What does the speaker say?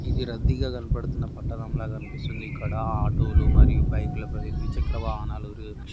ఇది రద్దీగా కనబడుతున్న పట్టణం లాగా కనిపిస్తున్నది. ఇక్కడ ఆటోలు మరియు బైకలు ద్విచక్ర వాహనములు--